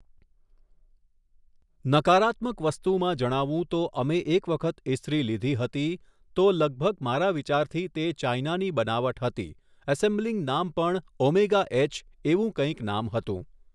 નકારાત્મક વસ્તુમાં જણાવું તો અમે એક વખત ઈસ્ત્રી લીધી હતી તો લગભગ મારા વિચારથી તે ચાઇનાની બનાવટ હતી ઍસૅમ્બલિંગ નામ પણ ઓમેગા એચ એવું કંઈક નામ હતું